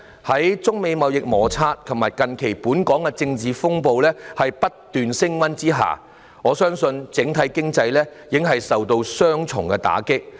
在中美貿易摩擦和近期本港的政治風暴不斷升溫之下，我相信整體經濟已經受到雙重打擊。